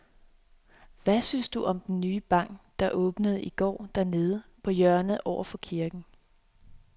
Hvad synes du om den nye bank, der åbnede i går dernede på hjørnet over for kirken?